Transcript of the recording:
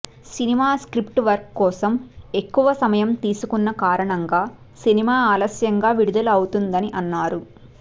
cinema script work కోసం ఎక్కువ సమయం తీసుకున్న కారణంగా సినిమా ఆలస్యంగా విడుదల అవుతుందని అన్నారు